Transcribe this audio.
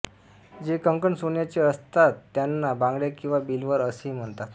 जे कंकण सोन्याचे असतातत्यांना बांगड्या किंवा बिलवर असेही म्हणतात